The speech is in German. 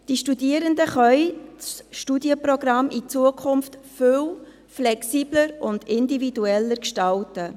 Die Studierenden können das Studienprogramm in Zukunft viel flexibler und individueller gestalten.